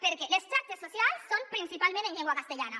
perquè les xarxes socials són principalment en llengua castellana